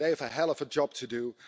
They have a hell of a job to do.